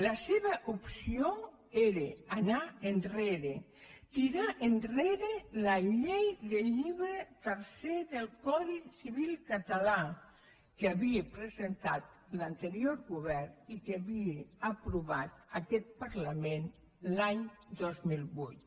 la seva opció era anar enrere tirar enrere la llei del llibre tercer del codi civil català que havia presentat l’anterior govern i que havia aprovat aquest parlament l’any dos mil vuit